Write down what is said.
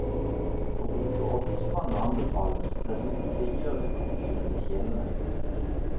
Å bruke ovnspanne anbefales, dessuten frigjør det komfyren til kjelene.